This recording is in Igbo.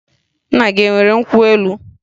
Nna gị e nwere nkwụ elu?